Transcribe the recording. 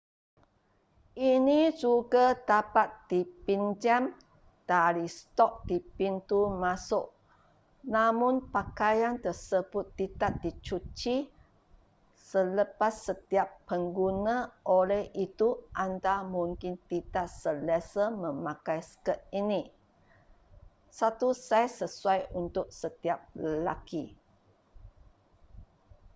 ini juga dapat dipinjam dari stok di pintu masuk namun pakaian tersebut tidak dicuci sekepas setiap pengguna oleh itu anda mungkin tidak selesa memakai skirt ini satu saiz sesuai untuk setiap lelaki